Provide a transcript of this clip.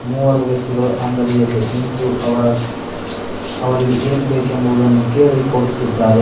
ಮೂವರು ವ್ಯಕ್ತಿಗಳು ಅಂಗಡಿಯಲ್ಲಿ ನಿಂತು ಅವರ ಅವರಿಗೆ ಏನು ಬೇಕೆಂಬುದನ್ನು ಕೇಳಿ ಕೊಡುತ್ತಿದ್ದಾರೆ.